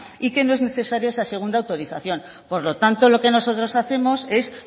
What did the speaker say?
y que no es necesaria esa segunda autorización por lo tanto lo que nosotros hacemos es